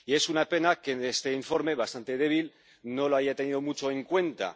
Y es una pena que este informe, bastante débil, no lo haya tenido mucho en cuenta.